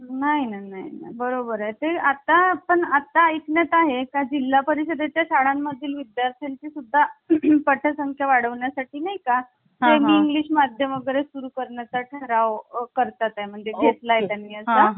नाही नाही बरोबर आहे ते आता पण आता ऐकणात आहे का जिल्हा परिषदेच्या शाळांमधील विद्यार्थ्यांची सुद्धा पटसंख्या वाढवण्या साठी नाही का? मी इंग्लिश माध्यम वगैरे सुरू करण्याचा ठराव करतात. म्हणजे घेतला आहे त्यांना हा आणि